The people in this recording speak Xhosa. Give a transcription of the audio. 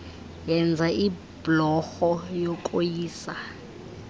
yenza ibhlorho yokoyisa